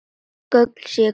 Gögnin séu hvergi til.